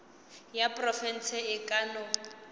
ya profense e ka no